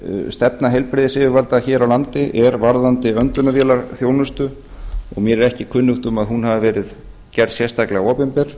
stefna heilbrigðisyfirvalda er hér á landi varðandi öndunarvélaþjónustu og mér er ekki kunnugt um að hún hafi verið gerð sérstaklega opinber